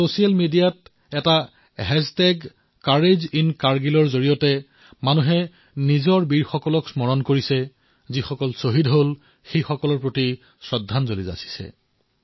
social মিডিয়াত এটা hashtag কোৰেজিনকাৰগিল ব্যৱহাৰ কৰি জনসাধাৰণে আমাৰ বীৰসকললৈ সেৱা জনাইছে শ্বহীদসকললৈ শ্ৰদ্ধাঞ্জলি যাঁচিছে